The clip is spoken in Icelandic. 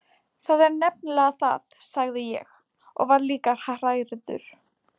Það er nefnilega það, sagði ég og var líka hrærður.